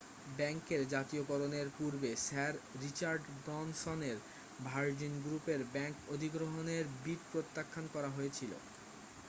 ব্যাংকের জাতীয়করণের পূর্বে স্যার রিচার্ড ব্রানসনের ভার্জিন গ্রুপের ব্যাংক অধিগ্রহণের বিড প্রত্যাখান করা হয়েছিল